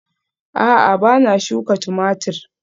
A'a ba na shuka Tumatir